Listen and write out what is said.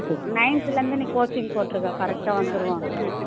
ninth ல இருந்து நீ coaching போட்டிருக்கா correct ஆ வந்திருவான்க்கா